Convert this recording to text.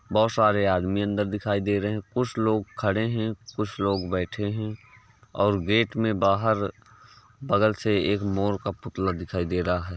बहुत सारे आदमी अंदर दिखाई दे रहे हैं। कुछ लोग खड़े हैं। कुछ लोग बैठे हैं और गेट में बाहर बगल से एक मोर का पुतला दिखाई दे रहा है।